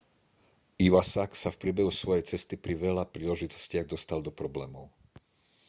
iwasak sa v priebehu svojej cesty pri veľa príležitostiach dostal do problémov